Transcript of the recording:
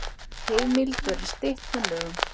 Heimild verði stytt með lögum